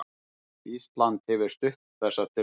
Ísland hefur stutt þessa tillögu